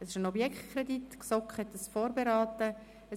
» Es handelt sich um einen Objektkredit, den die GSoK vorberaten hat.